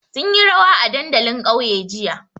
Sun yi rawa a dandalin ƙauye jiya.